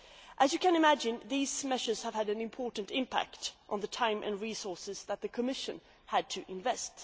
As you can imagine, these measures have had an important impact on the time and resources that the Commission has had to invest.